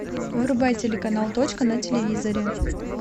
врубай телеканал точка на телевизоре